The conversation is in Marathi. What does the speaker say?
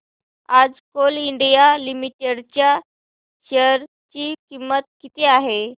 आज कोल इंडिया लिमिटेड च्या शेअर ची किंमत किती आहे